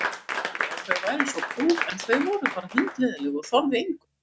Allir sögðu að þau væru svo prúð en þau voru bara hundleiðinleg og þorðu engu.